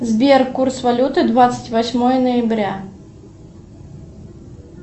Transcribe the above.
сбер курс валюты двадцать восьмое ноября